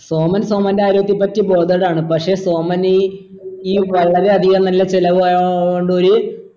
സോമൻ സോമൻ്റെ ആരോഗ്യത്തെ പറ്റി bothered ആണ് പക്ഷെ സോമനീ ഈ വളരെയധികം നല്ല ചിലവ്